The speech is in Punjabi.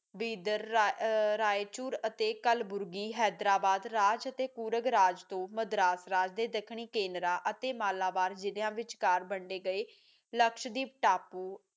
ਬਿਦਾਰ ਰਾਏ ਚੂਰ ਅਤੇ ਕਲ ਬੁਰਗੀ ਹੈਦਰਾਬਾਦ ਰਾਜ ਅਤੇ ਪੁਰਗਰਾਜ ਥੋ ਮਦਰਾਸ ਰਾਜ ਤੇ ਦੱਖਣੀ ਕੇਂਦਰਾਂ ਅਤੇ ਮਾਲਾਬਾਰ ਜਿਲਿਆਂ ਵਿੱਚ ਕਾਰ ਵੱਡੇ ਗਏ ਲਕਸ਼ਦੀਪ